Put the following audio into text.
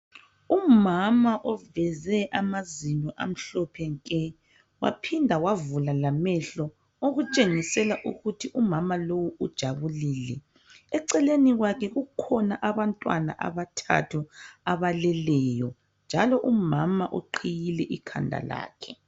Umama oveze amazinyo amhlophe nke waphinda wavula lamehlo Okutshengisela ukuthi umama lowu ujabulile. Eceleni kwakhe kukhona abantwana abathathu abaleleyo njalo umama uqhiyile ikhanda lakhe.